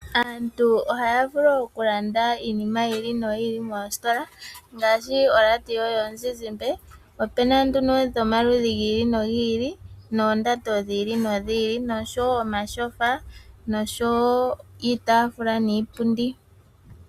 Aantu ohaya vulu oku landa iinima yili no yili moositola, ngashi oradio yomuzizimba, opena nduno dhomaludhi gili no giili, noondando dhiili no dhiili, osho wo omashofa nosho wo iitafula niipundi.